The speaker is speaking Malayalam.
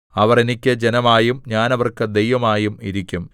അവർ എനിക്ക് ജനമായും ഞാൻ അവർക്ക് ദൈവമായും ഇരിക്കും